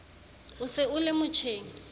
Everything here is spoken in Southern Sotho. o se o le motjheng